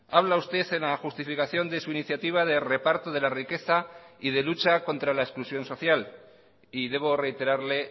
habla usted en la justificación de su iniciativa de reparto de la riqueza y de lucha contra la exclusión social y debo reiterarle